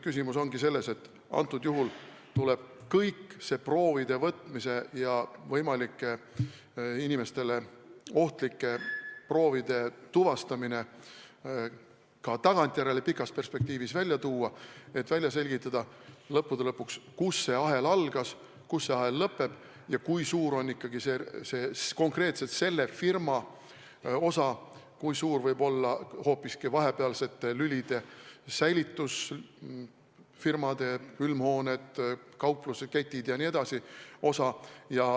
Küsimus ongi selles, et kogu see proovide võtmine ja võimaliku inimestele ohtliku bakteri tuvastamine tuleb nüüd pikas tagasivaates välja tuua, et lõppude lõpuks välja selgitada, kus see ahel algas, kus see ahel lõppeb ja kui suur on ikkagi konkreetselt selle firma osa ja kui suur võib olla hoopiski vahepealsete lülide – säilitusfirmad, külmhooned, kaupluseketid jne – osa.